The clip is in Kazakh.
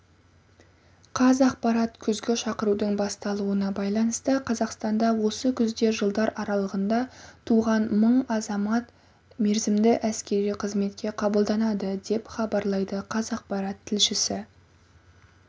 қазақпарат күзгі шақырудың басталуына байланысты қазақстанда осы күзде жылдар аралығында туған мың азамат мерзімді әскери қызметке қабылданады деп хабарлайды қазақпарат тілшісі